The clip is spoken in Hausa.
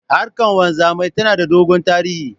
Harkan wanzamai tana da dogon tarihi.